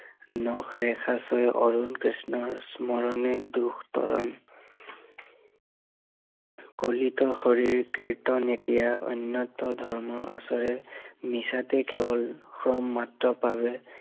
নখ ৰেখা ছয়ে অৰুণ কৃষ্ণৰ স্মৰণে দুখ তৰং কৰিত হৰিৰ কীৰ্তন এতিয়া, অন্য়ত ধৰ্মৰ আচয়ে, মিছাতে কেৱল সম মাত্ৰ পাৱে